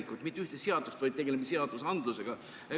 Me ei loo mitte ühte seadust, vaid tegeleme seadusandlusega.